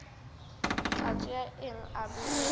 tla tšea eng a bea